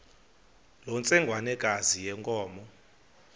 loo ntsengwanekazi yenkomo